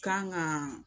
Kan ka